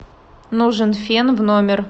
нужен фен в номер